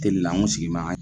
an kun sigi ma ga